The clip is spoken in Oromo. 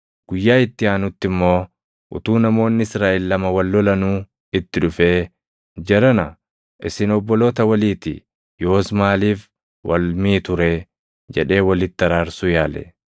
Guyyaa itti aanutti immoo utuu namoonni Israaʼel lama wal lolanuu itti dhufee, ‘Jarana, isin obboloota walii ti; yoos maaliif wal miitu ree?’ jedhee walitti araarsuu yaale.